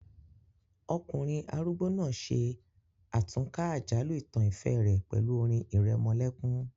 Ọkùnrin arúgbó náà ṣe àtúnkà àjálù ìtàn ìfẹ́ rẹ̀ pẹ̀lú orin ìrẹmọlẹ́kún